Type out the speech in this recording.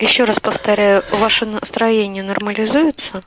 ещё раз повторяю ваше настроение нормализуется